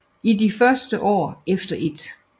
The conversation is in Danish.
I de første år efter 1